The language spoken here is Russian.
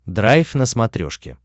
драйв на смотрешке